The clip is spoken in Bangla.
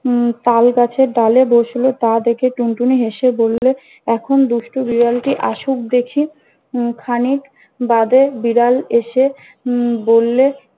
উম তাল গাছের ডালে বসলে তা দেখে টুনটুনি হেসে বললে- এখন দুষ্টু বিড়ালটি আসুক দেখি। উম খানিক বাদে বিড়াল এসে উম বললে-